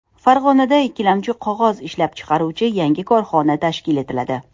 Farg‘onada ikkilamchi qog‘oz ishlab chiqaruvchi yangi korxona tashkil etiladi.